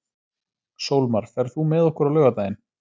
Sólmar, ferð þú með okkur á laugardaginn?